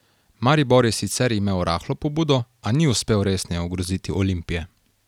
Maribor je sicer imel rahlo pobudo, a ni uspel resneje ogroziti Olimpije.